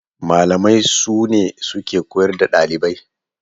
Malamai sune suke koyar da ɗalibai.